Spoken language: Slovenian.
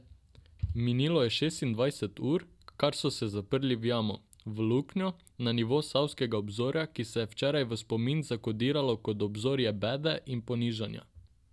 Minilo je šestindvajset ur, kar so se zaprli v jamo, v luknjo, na nivo savskega obzorja, ki se je včeraj v spomin zakodiralo kot obzorje bede in ponižanja.